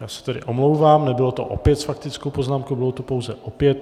Já se tedy omlouvám, nebylo to opět s faktickou poznámkou, bylo to pouze opět.